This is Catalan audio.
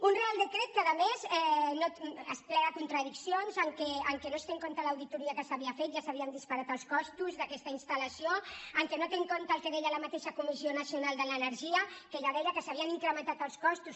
un reial decret que a més crea contradiccions en què no es té en compte l’auditoria que s’havia fet ja s’havien disparat els costos d’aquesta instal·lació en què no té en compte el que deia la mateixa comissió nacio nal de l’energia que ja deia que s’havien incrementat els costos